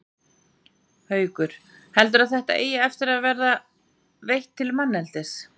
Haukur: Heldurðu að þetta eigi eftir að vera veitt til manneldis?